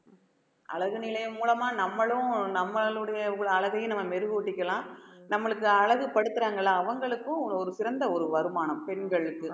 அழகு நிலையம் மூலமா நம்மளும் நம்மளுடைய ஒரு அழகையும் நம்ம மெருகூட்டிக்கலாம் நம்மளுக்கு அழகு படுத்துறாங்கல்ல அவங்களுக்கும் ஒரு சிறந்த ஒரு வருமானம் பெண்களுக்கு